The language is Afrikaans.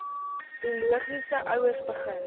biologiese ouers begin